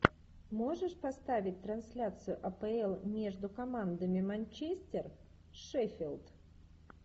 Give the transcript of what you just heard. можешь поставить трансляцию апл между командами манчестер шеффилд